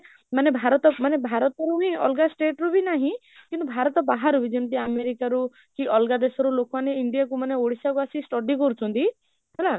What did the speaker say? ମାନେ ଭାରତ, ମାନେ ଭାରତରୁ ହି ଅଲଗା state ରୁ ହି ନାହିଁ, କିନ୍ତୁ ଭାରତ ବାହାରୁ ବି ଯେମିତି America ରୁ କି ଅଲଗା ଦେଶରୁ ଲୋକ ମାନେ ଇଣ୍ଡିଆ କୁ ମାନେ ଓଡ଼ିଶା କୁ ଆସିକି study କରୁଛନ୍ତି, ହେଲା?